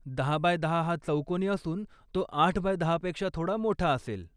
दहा बाय दहा हा चौकोनी असून तो आठ बाय दहा पेक्षा थोडा मोठा असेल.